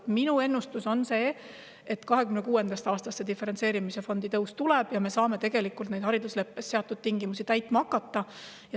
Minu ennustus on see, et 2026. aastal see diferentseerimisfondi kasv tuleb ja me saame neid haridusleppes seatud tingimusi täitma hakata.